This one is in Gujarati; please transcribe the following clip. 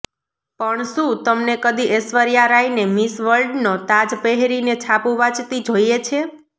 પણ શું તમને કદી ઐશ્વર્યા રાયને મિસ વર્લ્ડનો તાજ પહેરીને છાપું વાંચતી જોઇએ છે